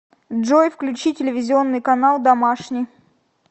джой включи телевизионный канал домашний